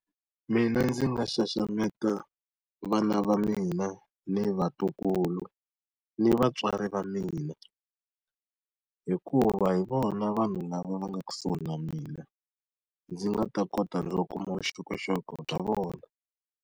Mina ndzi nga xaxameta vana va mina, ni vatukulu, ni vatswari va mina hikuva hi vona vanhu lava nga kusuhi na mina, ndzi nga ta kota no kuma vuxokoxoko bya vona.